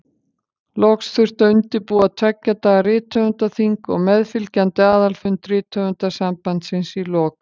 Loks þurfti að undirbúa tveggja daga rithöfundaþing og meðfylgjandi aðalfund Rithöfundasambandsins í lok apríl.